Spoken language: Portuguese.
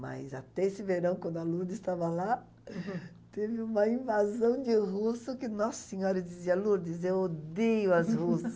Mas até esse verão, quando a Lourdes estava lá, teve uma invasão de russo que Nossa Senhora. Eu dizia, Lourdes, eu odeio as russas.